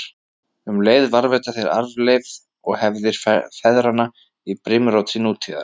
Um leið varðveita þeir arfleifð og hefðir feðranna í brimróti nútíðar.